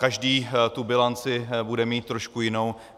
Každý tu bilanci bude mít trošku jinou.